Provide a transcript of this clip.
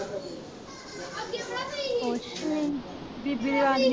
ਕੁਛ ਨੀ ਬੀਬੀ